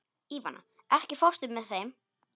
Ívana, ekki fórstu með þeim?